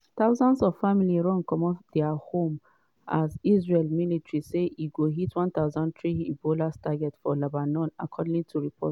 thousands of families run comot dia homes as israel military say e hit 1300 hezbollah targets for lebanon according to reports.